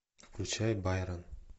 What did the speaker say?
включай байрон